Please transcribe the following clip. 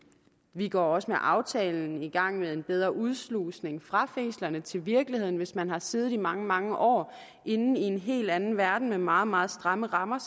vi går også med aftalen i gang med en bedre udslusning fra fængslerne til virkeligheden hvis man har siddet i mange mange år inde i en helt anden verden med meget meget stramme rammer